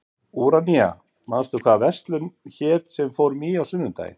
Úranía, manstu hvað verslunin hét sem við fórum í á sunnudaginn?